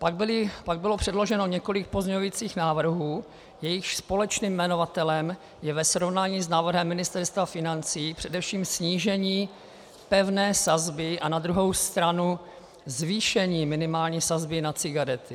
Pak bylo předloženo několik pozměňovacích návrhů, jejichž společným jmenovatelem je ve srovnání s návrhem Ministerstva financí především snížení pevné sazby a na druhou stranu zvýšení minimální sazby na cigarety.